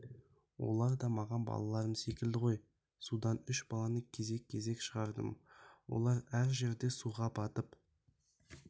олар да маған балаларым секілді ғой судан үш баланы кезек-кезек шығардым олар әр жерде суға батып